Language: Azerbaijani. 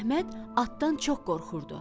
Əhməd atdan çox qorxurdu.